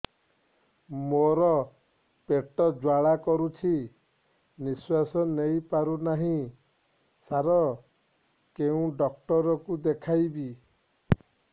ମୋର ପେଟ ଜ୍ୱାଳା କରୁଛି ନିଶ୍ୱାସ ନେଇ ପାରୁନାହିଁ ସାର କେଉଁ ଡକ୍ଟର କୁ ଦେଖାଇବି